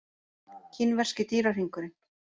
Kínverski dýrahringurinn.